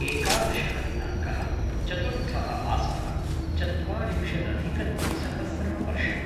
एकादशः दिनाङ्कः - चतुर्थः मासः - चत्वारिंशदधिकद्विसहस्रं वर्षम्